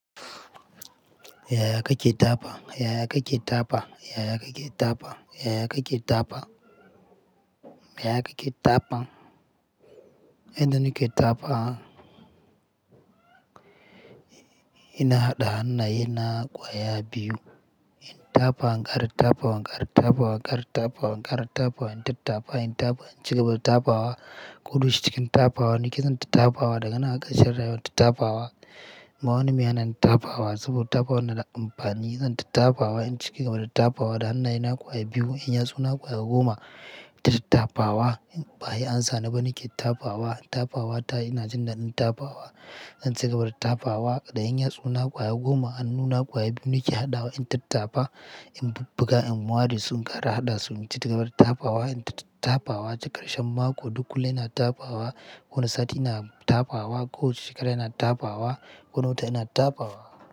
Ya yaka ke tafa? Ya yaka ke tafa? Ya yaka ke tafa? Ya aka ke tafawa? Ya yaka ke tafan? Yanda nike tafa ina haɗa hannaye na kwaya biyu. In tafa, in ƙara tafawa, in ƙara tafawa, in ƙara tafawa, in ƙara tafawa, in tattafa, in tafa, in cika gaba da tafawa, ko dayaushe cikin tafawa nike zan tattafawa da ganan har ƙarshen rayuwa tattafawa. Ba wani mehana ni tafawa saboda tafawa na da amfani. Za n tattafawa in cika gaba da tafawa da hannaye na kwaya biyu. In ya tsu na kwaya goma, tattafawa. Baya an sani ba nike tafawa. Tafawa ta ina jin daɗin tafawa. In cika gaba da tafawa da 'yanya tsu na kwaya goma, han nuna kwaya biyu nike haɗawa in tattafa. In bubbuga, in ware, su ƙara haɗa su naci gaba da tafawa. In tattafawa cikakarshen mako duk kullum ina tafawa. Wani sati ina tafawa. Koh shekara ina tafawa. Wani wata ina tafawa.